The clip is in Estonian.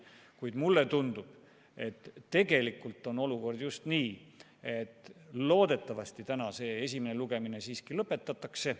Kuid mulle tundub, et tegelikult on olukord selline, et loodetavasti täna see esimene lugemine siiski lõpetatakse.